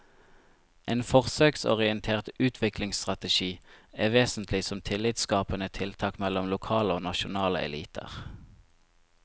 En forsøksorientert utviklingsstrategi er vesentlig som tillitsskapende tiltak mellom lokale og nasjonale eliter.